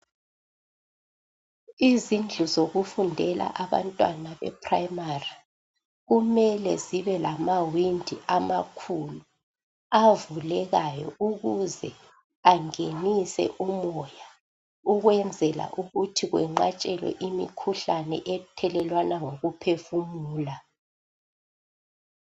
Izindlu zokufundela abantwana eprimary , kumele zibe lama windi amakhulu abukekayo ukuze angenise umoya ukwenzela ukuthi kwenqatshelwe imikhuhlane ethelelwana ngokuphefumula